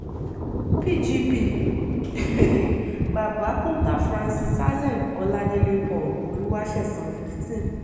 pgp um babakunta francis allen ọládélé paul olùwàsẹ̀san fifteen